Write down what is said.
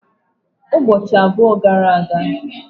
Ụbọchị abụọ gara aga.